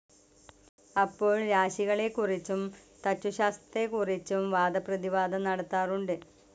അപ്പോൾ രാശികളെ കുറിച്ചും തച്ചുശാത്രത്തെക്കുറിച്ചും വാദപ്രതിവാദം നടത്താറുണ്ട്.